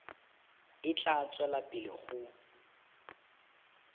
e tla tswela pele go